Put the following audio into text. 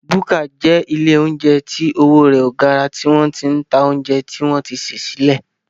Búkà jẹ́ ilé óúnjẹ tí owó rẹ ò gara tí wọ́n sì ń ta óúnjẹ tí wọ́n ti sè sílẹ̀